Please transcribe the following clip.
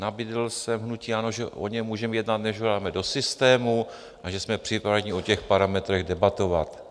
Nabídl jsem hnutí ANO, že o něm můžeme jednat, než ho dáme do systému, a že jsme připraveni o těch parametrech debatovat.